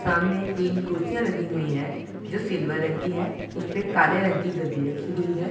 सामने तीन कुर्सियां लगी हुई है जो सिल्वर रंग की है। उसपे काले रंग की गद्दी रखी हुई है।